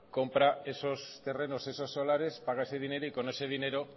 compra esos terrenos esos solares paga ese dinero y con ese dinero